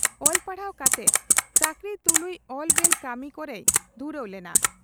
ᱚᱞ ᱯᱟᱲᱦᱟᱣ ᱠᱟᱛᱮ ᱪᱟᱹᱠᱨᱤ ᱛᱩᱞᱩᱡ ᱚᱞ ᱵᱮᱞ ᱠᱟᱹᱢᱤ ᱠᱚᱨᱮᱭ ᱫᱷᱩᱨᱟᱹᱣ ᱞᱮᱱᱟ ᱾